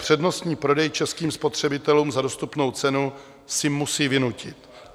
Přednostní prodej českým spotřebitelům za dostupnou cenu si musí vynutit.